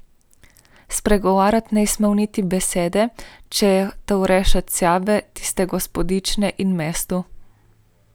Spregovoriti ni smel niti besede, če je hotel rešiti sebe, tiste gospodične in mesto.